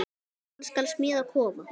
Hann skal smíða kofa.